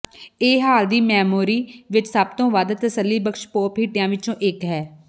ਇਹ ਹਾਲ ਦੀ ਮੈਮੋਰੀ ਵਿਚ ਸਭ ਤੋਂ ਵੱਧ ਤਸੱਲੀਬਖ਼ਸ਼ ਪੌਪ ਹਿੱਟਿਆਂ ਵਿੱਚੋਂ ਇੱਕ ਹੈ